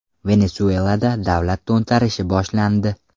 Venesuelada davlat to‘ntarishi boshlandi.